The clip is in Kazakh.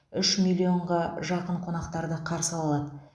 үш миллионға жақын қонақтарды қарсы ала алады